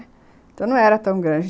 Então não era tão grande.